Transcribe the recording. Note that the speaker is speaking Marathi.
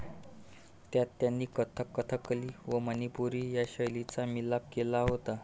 त्यात त्यांनी कथक कथकली व मनिपुरी या शैलीचा मिलाफ केला होता